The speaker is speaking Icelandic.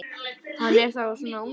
Hann er þá svona ungur.